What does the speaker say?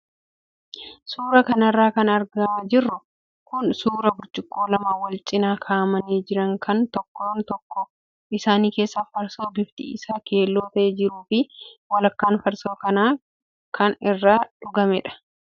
Suuraa kanarra kan argaa jirru kun suuraa burcuqqoo lama wal cinaa kaa'amanii jiran kan tokkoon tokkoo isaanii keessa farsoo bifti isaa keelloo ta'e jiruu fi walakkaan farsoo kanaa kan irraa dhugamedha.